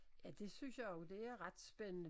Ja det synes jeg jo det er ret spændende